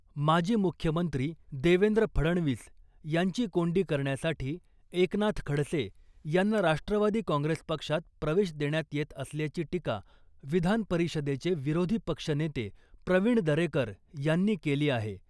माजी मुख्यमंत्री देवेंद्र फडणवीस यांची कोंडी करण्यासाठी एकनाथ खडसे यांना राष्ट्रवादी काँग्रेस पक्षात प्रवेश देण्यात येत असल्याची टीका विधान परिषदेचे विरोधी पक्षनेते प्रवीण दरेकर यांनी केली आहे .